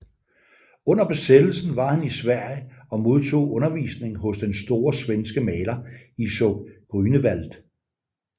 Under besættelsen var han i Sverige og modtog undervisning hos den store svenske maler Isaac Grünewald